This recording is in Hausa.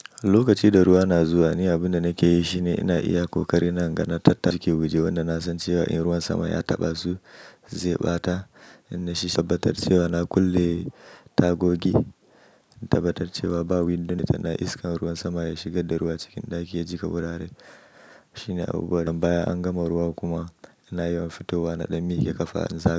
Lokaci da ruwa na zuwa, ni abin da nake yi shine ina iya ƙoƙari na ganana tattalin jiki guje, wanda na san cewa in ruwan sama ya taɓa zu zai ɓata. Inna shi shakkatar cewa na kulle tagogi, in tabbatar cewa ba windon da yana iskan ruwan sama ya shiga da ruwa cikin ɗaki ya jiƙa wuraren. Shi ne abu bari. Nan baya an gama ruwa kuma ina yawan fitowa na ɗun mi ke ƙafa in zama.